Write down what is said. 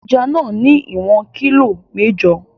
Ẹja náà ní ìwọ̀n kilo mẹ́jọ.